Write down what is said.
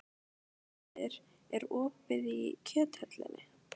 Þuríður, er opið í Kjöthöllinni?